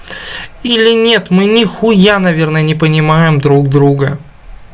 или нет мы ни хуя наверное не понимаем друг друга